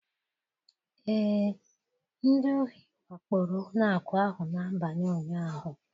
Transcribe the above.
Ee, ndị ohi wakporo ụlọ akụ ahụ n'abalị ụnyaahụ